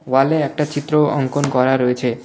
ওয়ালে একটা চিত্র অ-অঙ্কন করা রয়েছে .